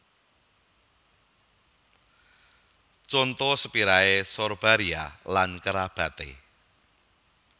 Conto Spiraea Sorbaria lan kerabaté